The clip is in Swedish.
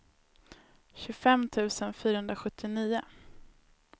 tjugofem tusen fyrahundrasjuttionio